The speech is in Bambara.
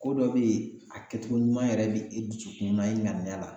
Ko dɔ bɛ yen a kɛcogo ɲuman yɛrɛ bi i dusukun na, i ŋaniya la